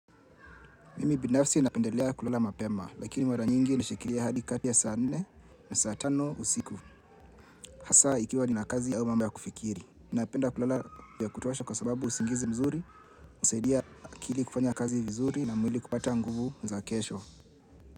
Mimi binafsi napendelea kulala mapema, lakini mara nyingi nishikilia hadi kadi saa nne na saa tano usiku. Hasa ikiwa nina kazi au mambo ya kufikiri. Napenda kulala vya kutosha kwa sababu usingizi mzuri hunisaidia akili kufanya kazi vizuri na mwili kupata nguvu za kesho.